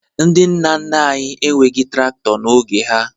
Ndị nna nna anyị enweghi traktọ n'oge ha